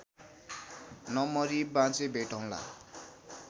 नमरी बाँचे भेटौँला